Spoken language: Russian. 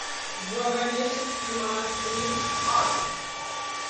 благовещенский монастырь адрес